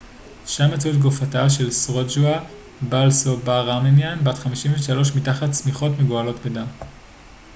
שם מצאו את גופתה של סרוג'ה בלסובאראמניאן בת 53 מתחת שמיכות מגואלות בדם